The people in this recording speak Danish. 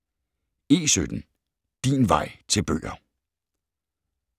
E17 Din vej til bøger